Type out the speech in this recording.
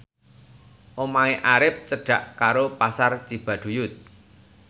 omahe Arif cedhak karo Pasar Cibaduyut